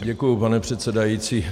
Děkuji, pane předsedající.